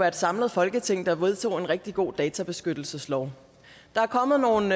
et samlet folketing der vedtog en rigtig god databeskyttelseslov der er kommet nogle